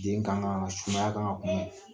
Den kaŋa ka sumaya kan ŋa kunbɛn.